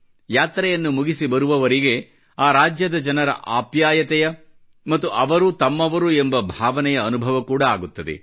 ಯಾತ್ರೆಯನ್ನು ಮುಗಿಸಿ ಬರುವವರಿಗೆ ಆ ರಾಜ್ಯದ ಜನರ ಅಪ್ಯಾಯತೆಯ ಮತ್ತು ಅವರೂ ತಮ್ಮವರು ಎನ್ನುವ ಭಾವನೆಯ ಅನುಭವ ಕೂಡ ಆಗುತ್ತದೆ